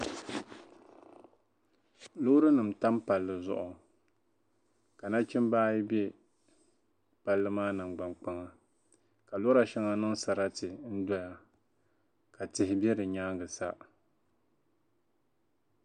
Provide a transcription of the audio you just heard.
loorinima tam palli zuɣu ka nachimba ayi be palli maa nangbaŋkpaŋa ka lɔra shɛŋa niŋ sarati n-dɔya ka tihi be bɛ nyaaŋga sa